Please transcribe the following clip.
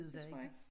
Det tror jeg ik